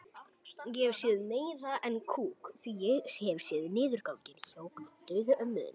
Þín Birna Vigdís.